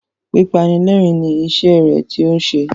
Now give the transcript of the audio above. Pípanilẹ́rìn-ín ni iṣẹ́ rẹ tí ó ń ṣe.